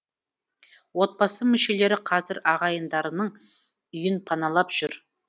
отбасы мүшелері қазір ағайындарының үйін паналап жүр